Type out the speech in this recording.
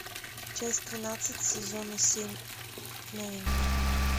часть тринадцать сезона семь новенькая